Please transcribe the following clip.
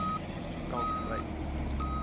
kalkspruit